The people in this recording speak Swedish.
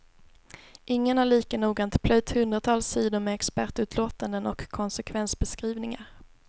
Ingen har lika noggrant plöjt hundratals sidor med expertutlåtanden och konsekvensbeskrivningar.